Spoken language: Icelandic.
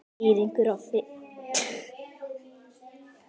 Eiríkur á Fitjum.